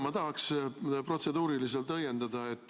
Ma tahaks protseduuriliselt õiendada.